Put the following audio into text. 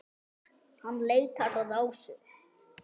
Hann leitar að Ásu.